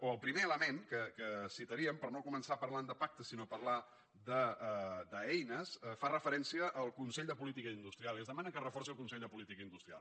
o el primer element que citaríem per no començar parlant de pactes sinó parlar d’eines fa referència al consell de política industrial i es demana que es reforci el consell de política industrial